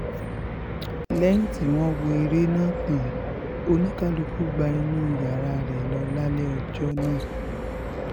um lẹ́yìn tí wọ́n wọ́ ère náà tán oníkálùkù gba inú yàrá rẹ̀ lọ lálẹ́ ọjọ́ náà um